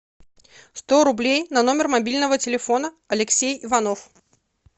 сто рублей на номер мобильного телефона алексей иванов